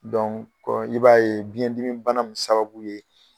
i b'a ye biɲɛ dimi bana in sababu ye.